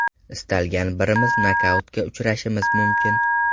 Istalgan birimiz nokautga uchrashimiz mumkin.